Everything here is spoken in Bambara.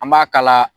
An b'a kala